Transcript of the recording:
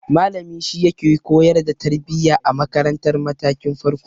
Malami shi yake koyar da tarbiya a makaratar matakin farko.